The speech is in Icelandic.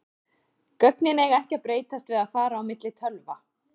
Gögnin eiga ekki að breytast við að fara á milli tölva.